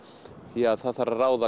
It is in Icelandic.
því það þarf að ráða